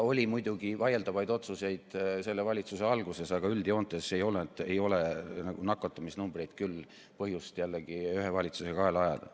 Muidugi tehti vaieldavaid otsuseid praeguse valitsuse alguses, aga üldjoontes ei ole nakatumisnumbreid küll põhjust ühe valitsuse kaela ajada.